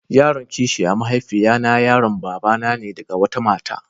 Yaron kishiya mahaifiya na yaron babana ne da ga wata mata.